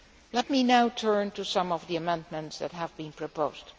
Let me now turn to some of the amendments that have been proposed.